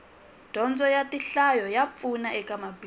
dyondzo ya tinhlayo a pfuna eka mabindzu